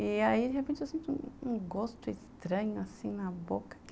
E aí, de repente, eu sinto um gosto estranho, assim, na boca.